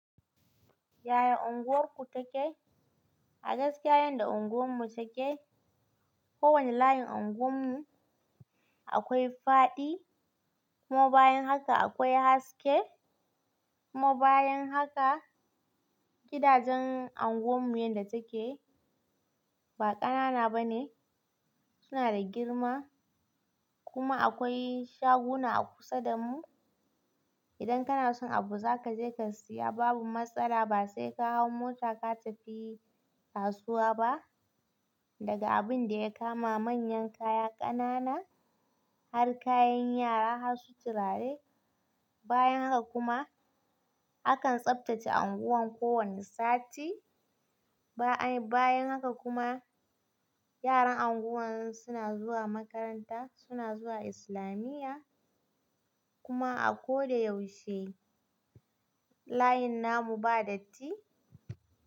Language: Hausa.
Yaya unguwarku take? A gaskiya yadda unguwarmu take, kowane layin anguwarmu akwai faɗi kuma bayan haka akwai haske kuma bayan haka gidajen unguwarmu yadda take ba ƙanana bane suna da girma kuma akwai shaguna a kusa da mu. Idan kana son abu za ka je ka siya babu matsala ba sai ka hau mota ka tafi kasuwa ba. Daga abun da ya kama manyan kaya ƙanana har kayan yara har su tirare. Bayan haka kuma akan tsaftace anguwar kowane sati bayan haka kuma yaran anguwar zuna zuwa makaranta, suna zuwa islamiya kuma a ko da yaushe layin namu ba datti.